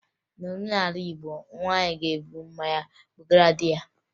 N'omenala Igbo, nwaanyị na-eburu mmanya ebugara di ya